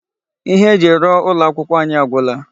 Ihe eji rụọ ụlọ akwụkwọ anyị agwụla.